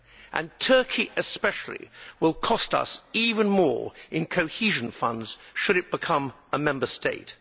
And Turkey especially will cost us even more in cohesion funds should it become a Member State.